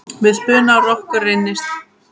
Við spuna rokkur reynist vel.